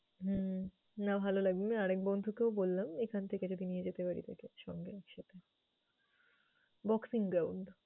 হম না ভালো লাগবে। আরেক বন্ধুকেও বললাম, এখান থেকে যদি নিয়ে যেতে তাকে পারি সঙ্গে একসাথে boxing ground ।